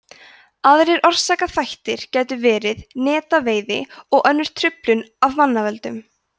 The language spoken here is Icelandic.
aðrir orsakaþættir gætu verið netaveiði og önnur truflun af mannavöldum